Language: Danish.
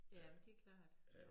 Ja det klart